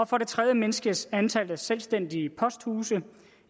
for det tredje mindskes antallet af selvstændige posthuse